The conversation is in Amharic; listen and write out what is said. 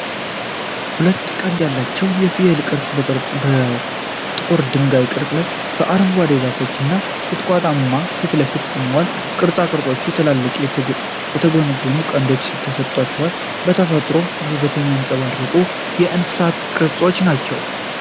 ሁለት ቀንድ ያላቸው የፍየል ቅርጻ ቅርጾች በጥቁር የድንጋይ ቅርጽ ላይ በአረንጓዴ ዛፎችና ቁጥቋጦዎች ፊት ለፊት ቆመዋል። ቅርጻ ቅርጾቹ ትልልቅና የተጎነጎኑ ቀንዶችን ተሰጠዋል፤ የተፈጥሮ ውበትን የሚያንፀባርቁ የእንስሳት ቅርጾች ናቸው።